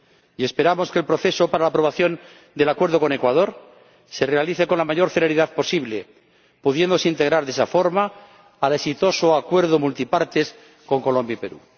Y esperamos que el proceso para la aprobación del acuerdo con Ecuador se desarrolle con la mayor celeridad posible, pudiéndose integrar de esa forma el país en el exitoso Acuerdo Comercial Multipartes con Colombia y Perú.